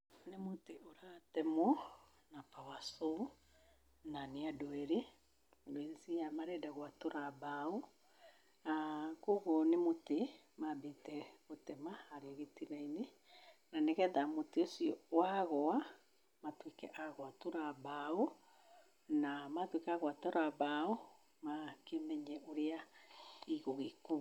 Nĩ mũtĩ ũratemwo na power saw na nĩ andũ erĩ, ngũĩciria marenda gũatũra mbaũ, na koguo nĩ mũtĩ mambĩte gũtema harĩa gĩtina-inĩ, na nĩgetha mũtĩ ũcio wagũa matũĩke a gũatũra mbaũ, na matuĩka a gũatũra mbaũ, makĩmenye ũrĩa igũgĩkuo.